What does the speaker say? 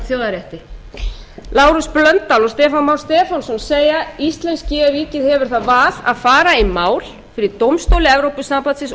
þjóðarrétti lárus blöndal og stefán már stefánsson segja íslenska ríkið hefur það val að fara í mál fyrir dómstóli evrópusambandsins og